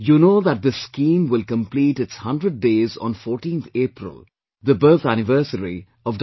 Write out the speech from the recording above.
You know that this scheme will complete its 100 days on 14th April, the birth anniversary of Dr